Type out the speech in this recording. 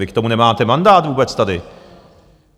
Vy k tomu nemáte mandát vůbec tady!